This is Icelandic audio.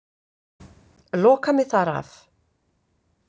Loka mig þar af.